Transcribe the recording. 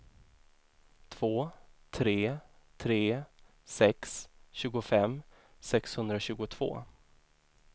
två tre tre sex tjugofem sexhundratjugotvå